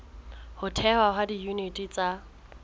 ho thehwa ha diyuniti tsa